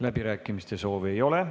Läbirääkimiste soovi ei ole.